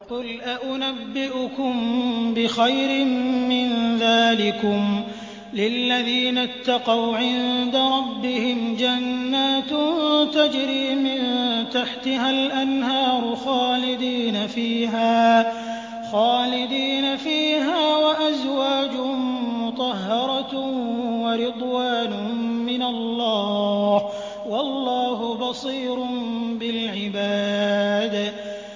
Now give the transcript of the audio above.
۞ قُلْ أَؤُنَبِّئُكُم بِخَيْرٍ مِّن ذَٰلِكُمْ ۚ لِلَّذِينَ اتَّقَوْا عِندَ رَبِّهِمْ جَنَّاتٌ تَجْرِي مِن تَحْتِهَا الْأَنْهَارُ خَالِدِينَ فِيهَا وَأَزْوَاجٌ مُّطَهَّرَةٌ وَرِضْوَانٌ مِّنَ اللَّهِ ۗ وَاللَّهُ بَصِيرٌ بِالْعِبَادِ